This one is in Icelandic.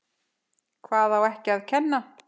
Hvað á ekki að kenna?